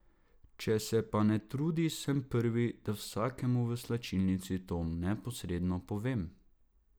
Če se pa ne trudi, sem prvi, da vsakemu v slačilnici to neposredno povem.